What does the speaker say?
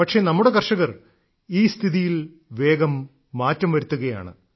പക്ഷേ നമ്മുടെ കർഷകർ ഈ സ്ഥിതിയിൽ വേഗം മാറ്റം വരുത്തുകയാണ്